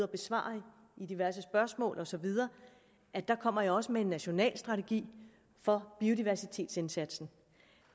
besvaret i diverse spørgsmål osv at der kommer jeg også med en national strategi for biodiversitetsindsatsen